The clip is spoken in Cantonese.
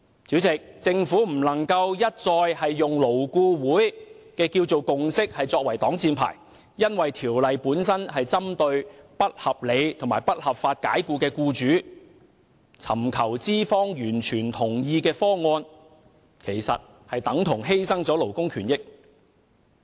主席，政府不能一再以勞顧會的共識作為擋箭牌，因為《條例草案》本身是針對不合理及不合法解僱僱員的僱主，而尋求資方完全同意的方案，其實等同犧牲勞工權益。